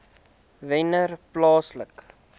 wennerplaaslike